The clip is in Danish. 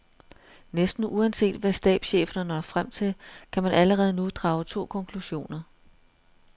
Næsten uanset hvad stabscheferne når frem til, kan man allerede nu drage to konklusioner.